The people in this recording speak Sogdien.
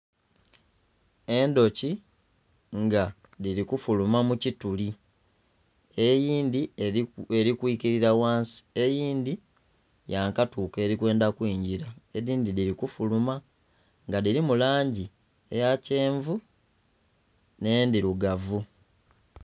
Endhoki nga dhiri kufuluma mukituli. eyindhi erikwikilira ghansi eyindhi yakatuuka erikwenda kwingira edhindhi dhiri kufuluma nga dhirimu langi eya kyenvu n'endhirugavu